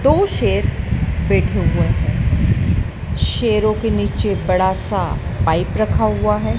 दो शेर बैठे हुए है शेरों के नीचे बड़ा सा पाइप रखा हुआ है।